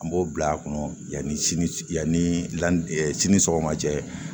An b'o bila a kɔnɔ yanni sini yanni lan sini sɔgɔma cɛ